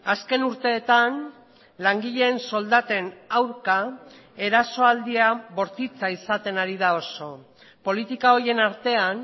azken urteetan langileen soldaten aurka erasoaldia bortitza izaten ari da oso politika horien artean